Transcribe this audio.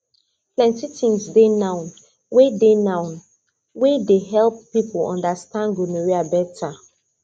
plenty things dey now wey dey now wey dey help people understand gonorrhea better